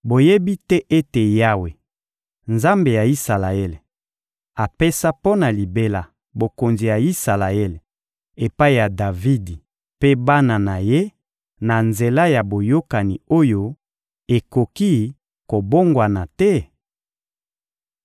Boyebi te ete Yawe, Nzambe ya Isalaele, apesa mpo na libela bokonzi ya Isalaele epai ya Davidi mpe bana na ye na nzela ya boyokani oyo ekoki kobongwana te?